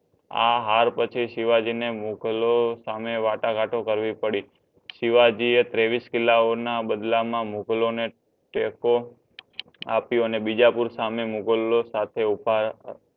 આ હાર પછી શિવજી એ મુઘલો સાથે વાટાઘાટો પડી શિવજી એ ત્રેવીશ કિલ્લા ઓ ના બદલા મા મુઘલો ને ટેકો અપીયો ને બીજાપૂર સાહમે મુઘલો સાથે ઊભા